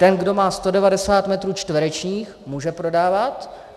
Ten, kdo má 190 metrů čtverečních, může prodávat.